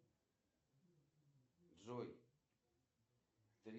афина сайт таможенный союз яэс